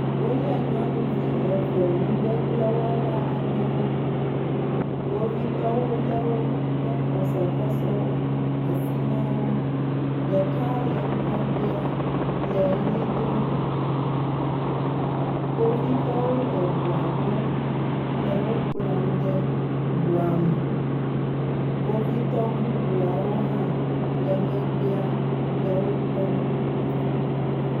Wolé nyɔnuvi eve nugbegblẽwɔla aɖewo. Kpovitɔwo lé wo, de kɔsɔkɔsɔwo asi na wo. Ɖeka le ŋgɔgbea le ʋli dom. Kpovitɔwo le ŋua gbɔ le wo kplɔm de ŋua me. Kpovitɔ bubuawo hã le megbea le wo kpɔm